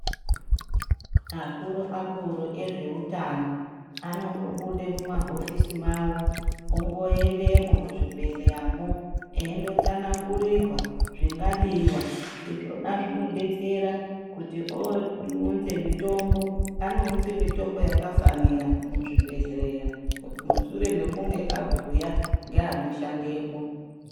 Akuru-akuru ezveutano anombobude mumahofisi mawo, omboendemwo muzvibhehleyamo eindotsanangurirwa zvingadiwa, izvona zvinodetsera kuti ounze mitombo anounze mitombo yakafanira muzvibhehleya mushure mekunge abhuya ngeanoshandemwo.